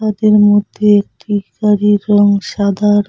তাদের মধ্যে একটি গাড়ির রং সাদা র--